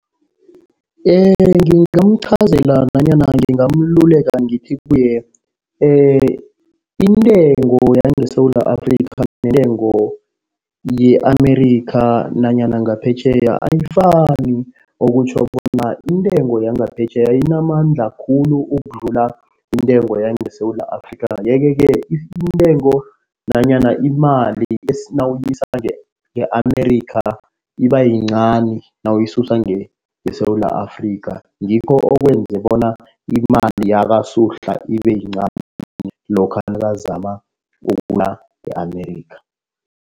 Ngingamuqhazela nanyana ngingamuleka ngithi kuye, intengo yangeSewula Afrika neentengo ye-America nanyana ngaphetjheya ayifani. Okutjho bona iintengo yangaphetjheya inamandla khulu ukudlula intengo yangeSewula Afrika. Yeke-ke intengo nanyana imali nawuyisa nge-America iba yincani nawuyisusa ngeSewula Afrika. Ngikho okwenza bona imali yakaSuhla ibe yincani lokha nakazama e-America.